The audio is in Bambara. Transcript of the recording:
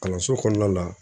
Kalanso kɔnɔna la